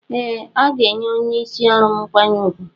Ee aga enye onye isi ọrụm mkwanye ugwu.